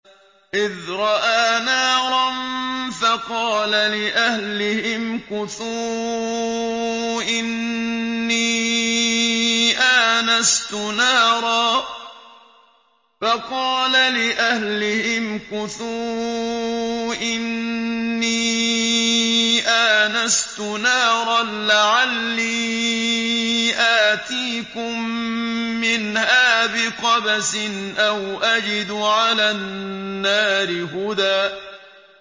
إِذْ رَأَىٰ نَارًا فَقَالَ لِأَهْلِهِ امْكُثُوا إِنِّي آنَسْتُ نَارًا لَّعَلِّي آتِيكُم مِّنْهَا بِقَبَسٍ أَوْ أَجِدُ عَلَى النَّارِ هُدًى